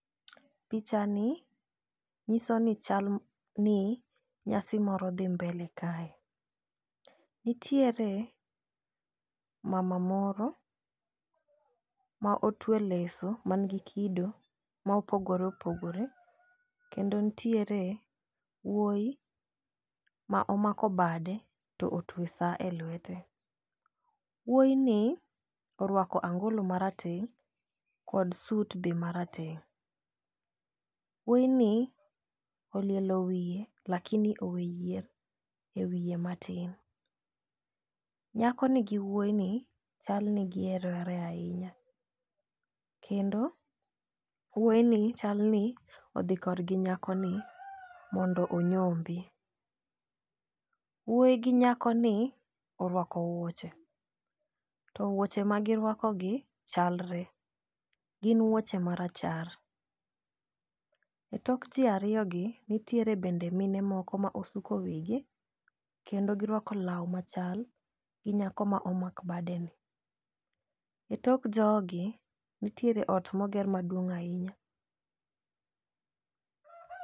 Picha ni nyiso ni chal ni nyasi moro dhi mbele kae. Nitiere mama moro ma otwe leso man gi kido ma opogore opogore kendo ntiere wuoyi ma omako bade to otwe saa e lwete. Wuoyi ni orwako angolo marateng' kod sut be marateng' . Wuoyi ni olielo wiye lakini owe yier e wiye matin. Nyako ni gi wuoyi ni chal ni gihero re ahinya kendo wuoyi ni chal ni odhi kor gi nyako ni mondo onyombi. Wuoyi gi nyako ni orwako wuoche to wuoche ma girwako gi chalre gin wuoche marachar . E tok jii ariyo gi nitiere bende mine moko ma osuko wigi kendo girwako law machal gi nyako ma omak bade ni . E tok jogi ntiere ot moger maduong' ahinya .